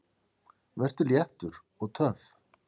Vertu léttur. og töff!